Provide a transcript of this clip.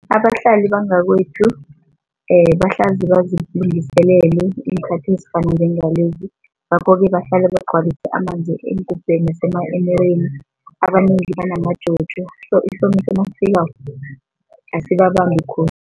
Abahlali bangakwethu bahlezi bazilungiselele iinkhathi ezifana njengalezi ngakho-ke bahlale bagcwalise amanzi eengubheni nasema-emereni, abanengi banamaJojo so isomiso nasifikako asibabambi khulu.